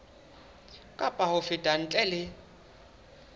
kapa ho feta ntle le